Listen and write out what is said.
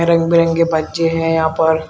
रंग बिरंगे बच्चे हैं यहां पर।